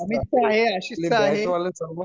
माझ्याकडे अमितचा आहे आशीष चा आहे